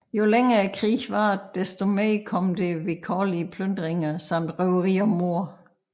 Jo længere krigen varede desto mere kom det til vilkårlige plyndringer samt røveri og mord